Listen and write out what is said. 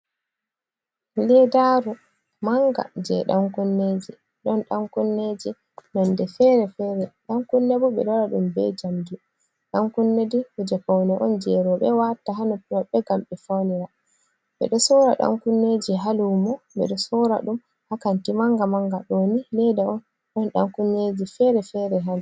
Leɗɗaru manga je dankunneji. Ɗon dankunneji nonɗe fere-fere. Dan kunne bu be ɗo waɗa ɗum be jamɗi. Dan kunne ɗai kuje faune on je rebe watta ha noppi mabbe ngam be fanira. Beɗo sora dan kunneji ha lumo. Beɗo sora ɗum ha kanti manga-manga. Ɗo ni leɗɗa on ɗon dan kunnyeji fere-fere haɗi.